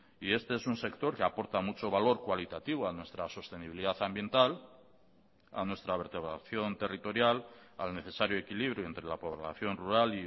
y este es un sector que aporta mucho valor cualitativo a nuestra sostenibilidad ambiental a nuestra vertebración territorial al necesario equilibrio entre la población rural